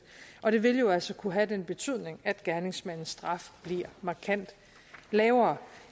og det vil jo altså kunne have den betydning at gerningsmandens straf bliver markant lavere